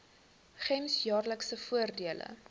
gems jaarlikse voordele